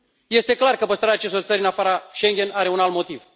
Este clar că păstrarea acestor țări în afara Schengen are un alt motiv.